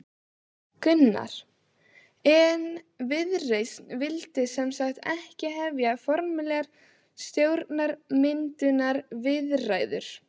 Gunnar: En Viðreisn vildi sem sagt ekki hefja formlegar stjórnarmyndunarviðræður?